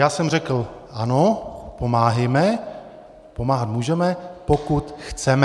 Já jsem řekl ano, pomáhejme, pomáhat můžeme, pokud chceme.